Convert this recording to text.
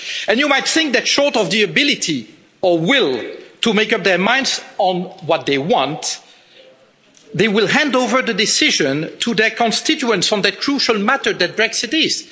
You might think that, short of the ability or will to make up their minds on what they want, they will hand over the decision to their constituents on that crucial matter that Brexit is.